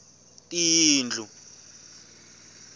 tiyindlu